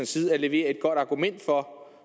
side at levere et godt argument for